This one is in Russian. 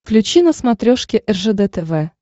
включи на смотрешке ржд тв